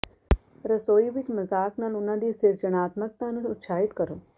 ਰਸੋਈ ਵਿਚ ਮਜ਼ਾਕ ਨਾਲ ਉਹਨਾਂ ਦੀ ਸਿਰਜਣਾਤਮਕਤਾ ਨੂੰ ਉਤਸ਼ਾਹਿਤ ਕਰੋ